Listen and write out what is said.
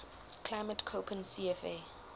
climate koppen cfa